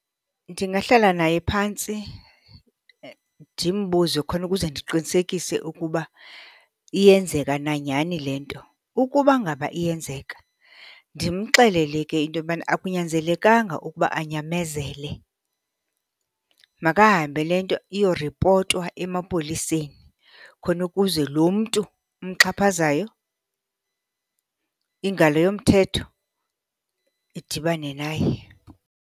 Ndingahlala naye phantsi ndimbuze, khona ukuze ndiqinisekise ukuba iyenzeka na nyhani le nto. Ukuba ngaba iyenzeka ndimxelele ke into yobana, akunyanzelekanga ukuba anyamezele. Makahambe le nto iyoripotwa emapoliseni khona ukuze lo mntu umxhaphazayo, ingalo yomthetho idibane naye.